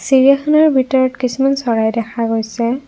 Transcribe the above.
চিৰিয়াখানাৰ ভিতৰত কিছুমান চৰাই দেখা গৈছে।